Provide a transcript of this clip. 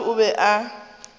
wa batho o be a